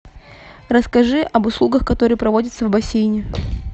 расскажи об услугах которые проводятся в бассейне